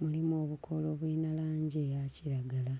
birina obukoola obulina langi eya kiragala.